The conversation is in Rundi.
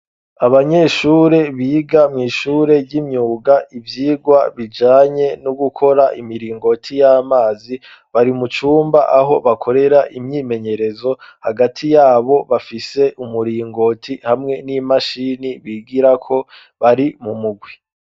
Abanyeshure biga mw'ishure y'imyuga ibyigwa bijanye no gukora imiringoti y'amazi bari mucumba aho bakorera imyimenyerezo hagati yabo bafise umuringoti hamwe n'imashini bigira ko bari mu mugwi.